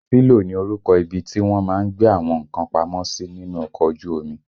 Sílò ni orúkọ ibi tí wọ́n má ń gbé àwọn nǹkan pamọ́ sí nínú ọkọ̀ ojú omi